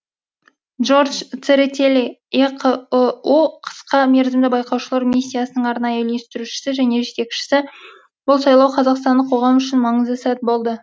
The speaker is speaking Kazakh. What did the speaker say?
джордж церетели еқыұ қысқа мерзімді байқаушылар миссиясының арнайы үйлестірушісі және жетекшісі бұл сайлау қазақстандық қоғам үшін маңызды сәт болды